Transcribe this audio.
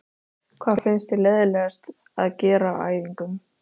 Hvað finnst þér leiðinlegast að gera á æfingum?